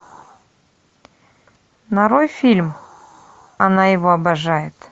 нарой фильм она его обожает